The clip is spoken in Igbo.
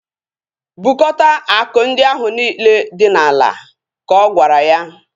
Bukota akụ ndị ahu niile dị n'ala! Ka ọ gwara ya